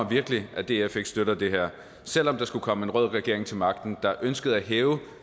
virkelig at df ikke støtter det her selv om der skulle komme en rød regering til magten der ønskede at hæve